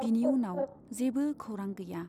बिनि उनाव जेबो खौरां गैया।